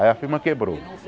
Aí a firma quebrou.